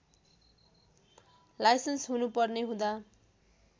licence हुनुपर्ने हुँदा